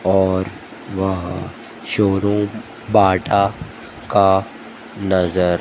और वहां showroom Bata का नजर--